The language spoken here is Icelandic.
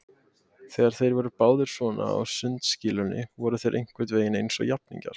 Þegar þeir voru báðir svona á sundskýlunum voru þeir einhvern veginn eins og jafningjar.